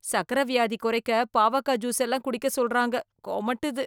சர்க்கரை வியாதி குறைக்க பாவக்காய் ஜூஸ் எல்லாம் குடிக்க சொல்றாங்க, கொமட்டுது.